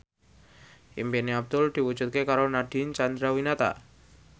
impine Abdul diwujudke karo Nadine Chandrawinata